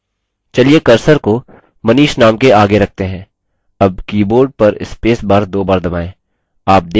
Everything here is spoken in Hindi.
चलिए cursor को manish name के आगे रखते हैं अब keyboard पर space bar spacebar दो bar दबाएँ